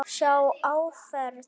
Sjá áferð.